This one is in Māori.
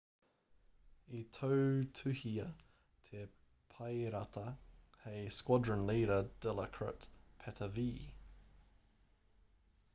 i tautuhia te paerata hei squadron leader dilokrit pattavee